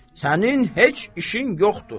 sənin heç işin yoxdur.